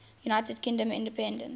united kingdom independence